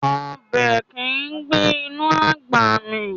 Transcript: Ọbẹ̀ kìí gbé inú àgbà mì